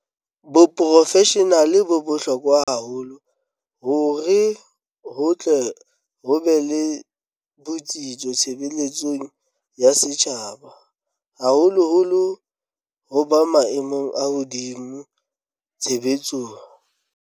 Boprofeshenale bo bohlo kwa hore ho tle ho be le botsitso tshebeletsong ya setjhaba, haholoholo ho ba maemong a hodimo tshebetsong.